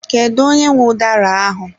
Kedu onye nwe udara ahụ?